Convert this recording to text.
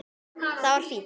Það var fínt.